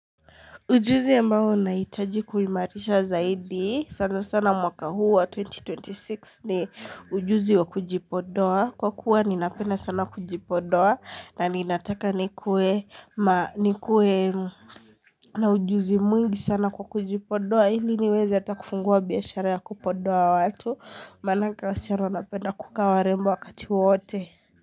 Ujuzi ambao unahitaji kuwimarisha zaidi sana sana mwaka huu wa twenty twenty six ni ujuzi wa kujipodoa kwa kuwa ninapenda sana kujipodoa na ninataka ni kuwe ma nikuwe na ujuzi mwingi sana kwa kujipodoa hili niweza atakufungua biyashara ya kupodoa watu manake wasichana wanapenda kuka warembo wakati wote.